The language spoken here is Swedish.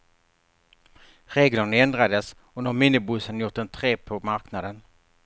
Reglerna ändrades och nu har minibussarna gjort entré på marknaden.